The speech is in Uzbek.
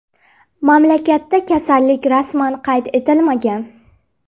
Mamlakatda kasallik rasman qayd etilmagan.